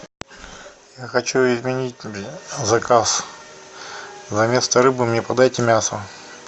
я хочу изменить заказ заместо рыбы мне подайте мясо